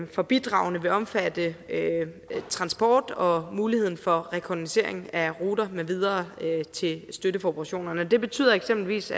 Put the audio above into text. for bidragene vil omfatte transport og muligheden for rekognoscering af ruter med videre til støtte for operationerne det betyder eksempelvis